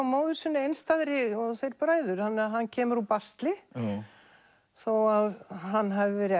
móður sinni einstæðri og þeir bræður þannig að hann kemur úr basli þó að hann hafi verið